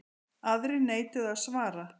Aðrir neituðu að svara.